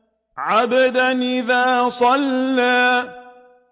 عَبْدًا إِذَا صَلَّىٰ